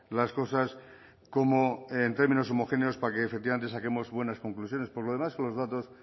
las cosas como en términos homogéneos para que efectivamente saquemos buenas conclusiones por lo demás con los datos